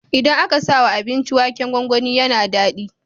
Idan aka sawa abinci waken gwangwani yAna dadi